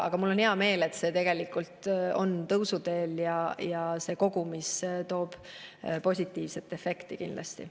Aga mul on hea meel, et on tõusuteel, see toob kindlasti positiivse efekti.